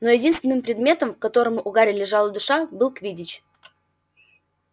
но единственным предметом к которому у гарри лежала душа был квиддич